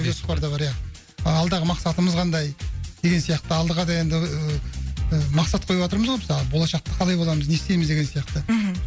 жоспарда бар иә алдағы мақсатымыз қандай деген сияқты алдыға да енді ыыы мақсат қойып отырмыз ғой мысалы болашақта қалай боламыз не істейміз деген сияқты мхм